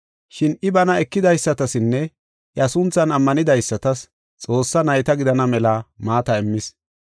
Shin I bana ekidaysatasinne iya sunthan ammanidaysatas Xoossaa nayta gidana mela maata immis.